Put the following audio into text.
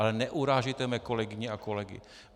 Ale neurážejte mé kolegyně a kolegy.